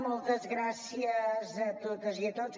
moltes gràcies a totes i a tots